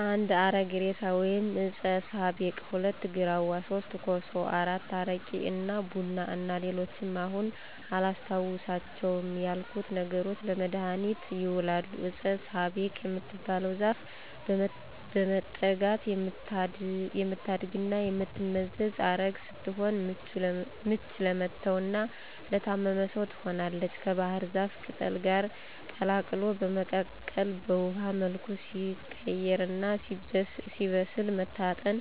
1. አረግ እሬሳ ወይም ዕጸ ሳቤቅ፣ 2. ግራዋ፣ 3. ኮሶ፣ 4. አረቂ እና ቡና እና ሌሎችም አሁን አላስታውሳቸው ያልኩት ነገሮች ለመድሀኒትነት ይውላሉ። ዕጸ ሳቤቅ የምትባለው ዛፍ በመጠጋት የምታድግና የምትመዘዝ ዐረግ ስትሆን ምች ለመታውና ለታመመ ሰው ትሆናለች ከባሕር ዛፍ ቅጠል ጋር ቀላቅሎ በመቀቀል ውሀው መልኩ ሲቀይርና ሲበስል መታጠን፣